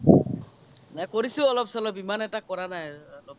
নাই কৰিছো অলপ চলপ ইমান এটা কৰা নাই আৰ অলপ